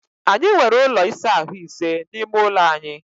Anyị nwere ụlọ ịsa ahụ́ ise n’ime ụlọ anyị